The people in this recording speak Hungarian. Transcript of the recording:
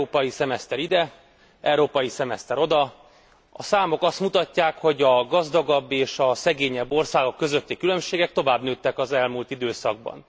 Európai szemeszter ide, európai szemeszter oda, a számok azt mutatják, hogy a gazdagabb és a szegényebb országok közötti különbségek tovább nőttek az elmúlt időszakban.